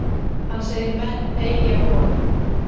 Hann segir menn eygja von.